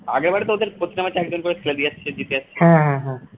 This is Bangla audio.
আগের বার তো ওদের প্রতিটা match এ একজন করে খেলে দিয়েছে জিতে আসছে